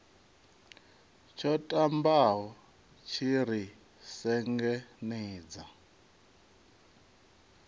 tsho ṱambaho tshi ri sengenedza